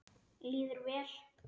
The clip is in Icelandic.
Líður vel.